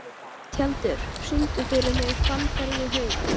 Tjaldur, syngdu fyrir mig „Fannfergi hugans“.